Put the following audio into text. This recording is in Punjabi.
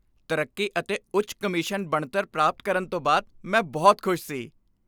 ਤਰੱਕੀ ਅਤੇ ਉੱਚ ਕਮਿਸ਼ਨ ਬਣਤਰ ਪ੍ਰਾਪਤ ਕਰਨ ਤੋਂ ਬਾਅਦ, ਮੈਂ ਬਹੁਤ ਖੁਸ਼ ਸੀ।